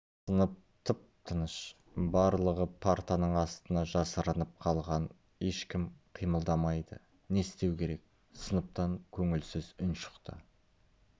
сынып тып-тыныш барлығы партаның астына жасырынып қалған ешкім қимылдамайды не істеу керек сыныптан көңілсіз үн шықты